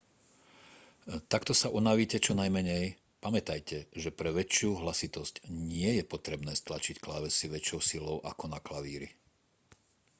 takto sa unavíte čo najmenej pamätajte že pre väčšiu hlasitosť nie je potrebné stlačiť klávesy väčšou silou ako na klavíri